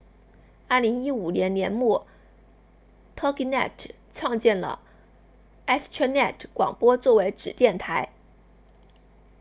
2015年年末 toginet 创建了 astronet 广播作为子电台